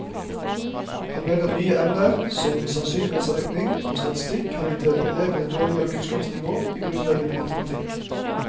Han mener nye emner som sannsynlighetsregning og statistikk har gitt elevene et dårligere kunnskapsnivå i grunnleggende matematikk.